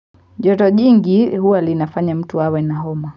Joto jingi huwa linafanya mtu awe na homa.